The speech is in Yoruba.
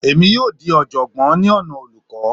Èmi yóò dì í oọ̀jọ̀gbọ́n ní ọ̀nà olùkọ́